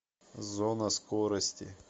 зона скорости